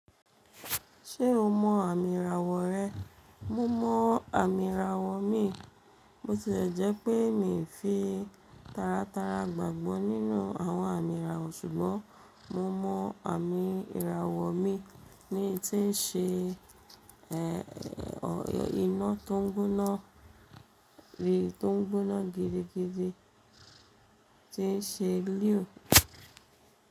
Ṣé o mọ àmì ìràwọ̀ rẹ? Mo mọ àmì ìràwọ̀ mi. Bo tilẹ̀ jẹ́ pé mi fi tara tara gbàgbọ́ nínú àwọn àmì ìràwọ̀ ṣùgbọ́n mo mọ àmì ìràwọ̀ mi ní tí ń ṣe iná tó ń gbóná gidi gidi, tí ń ṣe lúù.